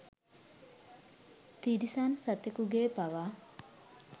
තිරිසන් සතකුගේ පවා